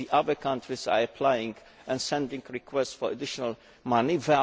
The other countries are applying and sending requests for additional money.